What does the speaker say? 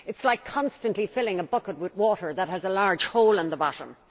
It is like constantly filling a bucket with water that has a large hole in the bottom.